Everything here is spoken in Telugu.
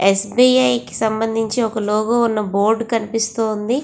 ఎ.స్బి.ఐ కి సమందించిన ఒక లోగో ఉన్న బోర్డు కనిపిస్తూ ఉంది.